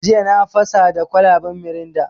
Jiya na fasa da kwalaban mirinda.